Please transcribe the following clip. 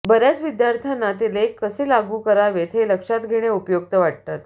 बर्याच विद्यार्थ्यांना ते लेख कसे लागू करावेत हे लक्षात घेणे उपयुक्त वाटतात